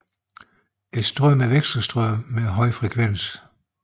Strømmen er vekselstrøm med en høj frekvens